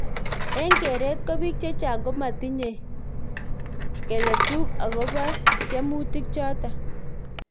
Eng keret ko bik chechang komatinye keletuk akobo tiemutik chotok.